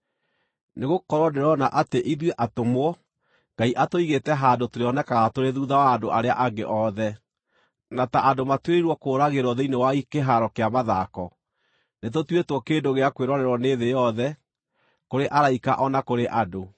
Nĩgũkorwo ndĩrona atĩ ithuĩ atũmwo Ngai atũigĩte handũ tũrĩonekaga tũrĩ thuutha wa andũ arĩa angĩ othe, na ta andũ matuĩrĩirwo kũũragĩrwo thĩinĩ wa kĩhaaro kĩa mathako. Nĩtũtuĩtwo kĩndũ gĩa kwĩrorerwo nĩ thĩ yothe, kũrĩ araika o na kũrĩ andũ.